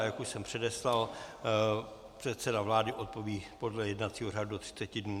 A jak už jsem předeslal, předseda vlády odpoví podle jednacího řádu do 30 dnů.